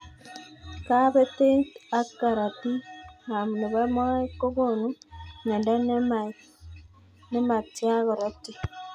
Kabetet ab karotik ab nebo moet kokunu mnyendo nematya karotik.